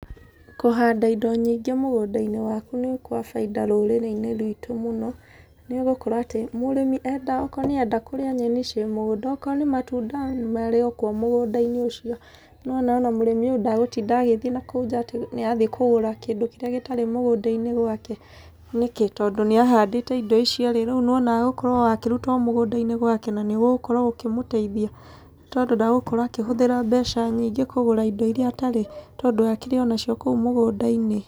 Kũhanda indo nyĩngĩ mũgunda-inĩ waku nĩ gwa bainda mũno rũrĩrĩ-inĩ rwitũ mũno, nĩ gũkorwo atĩ, mũrĩmi enda okorwo nĩ arenda kũrĩa nyeni cĩrĩ mũgũnda, okorwo nĩ matunda, marĩ okuo mũgunda-inĩ ũcio. Nĩ ũrona o na mũrĩmi ũcio ndagũtinda agĩthiĩ nakũu nja atĩ nĩ arathiĩ kũgũra kĩndũ kĩrĩa gĩtarĩ mũgũnda-inĩ gwake, nĩkĩ? tondũ nĩ ahandĩte indo icio rĩ, rĩu nĩ ũrona agũkorwo o akĩruta indo icio o mũgũnda-inĩ gwake na nĩ gũgũkorwo gũkĩmũteithia, tondũ ndagũkorwo akĩhũthĩra mbeca nyingĩ kũgũra indo irĩa atarĩ, tondũ akĩrĩ o na cio kũu mũgũnda-inĩ.